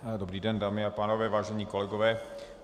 Dobrý den, dámy a pánové, vážení kolegové.